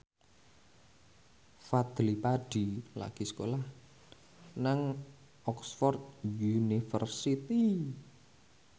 Fadly Padi lagi sekolah nang Oxford university